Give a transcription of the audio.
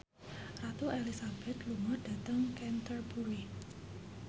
Ratu Elizabeth lunga dhateng Canterbury